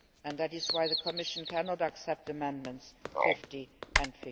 That is why the Commission cannot accept Amendments 50 and